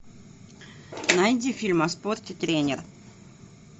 найди фильм о спорте тренер